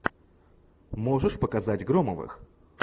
можешь показать громовых